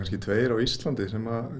tveir á Íslandi sem